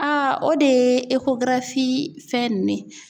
A o de ye fɛn ninnu ye.